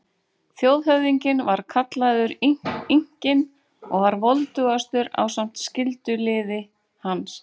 Þjóðhöfðinginn var kallaður Inkinn og var voldugastur ásamt skyldulið hans.